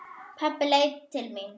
Pabbi leit til mín.